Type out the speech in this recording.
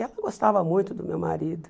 E ela gostava muito do meu marido.